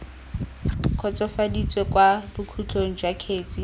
kgotsofaditswe kwa bokhutlong jwa kgetse